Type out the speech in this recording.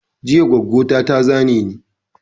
Jiya goggo na ta zane ni